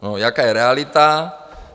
Jaká je realita?